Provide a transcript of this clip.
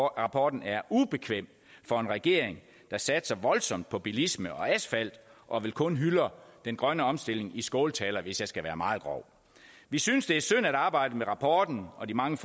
rapporten er ubekvem for en regering der satser voldsomt på bilisme og asfalt og vel kun hylder den grønne omstilling i skåltaler hvis jeg skal være meget grov vi synes det er synd at arbejdet med rapporten og de mange